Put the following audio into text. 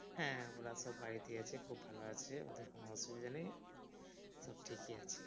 হ্যাঁ ওরা তো বাড়িতেই আছে খুব ভালো আছে ওদের কোনো অসুবিধা নেয় সব ঠিকই আছে।